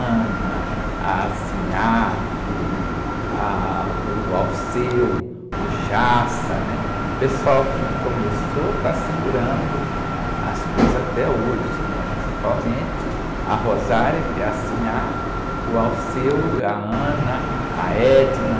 a que, ah, o, o, né? O pessoal que começou está segurando as coisas até hoje, né? Principalmente a, que é a, o, a, a.